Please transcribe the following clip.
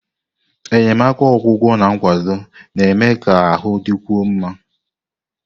Enyemaka ọgwụgwọ na nkwado na-eme ka ahụ dịkwuo mma.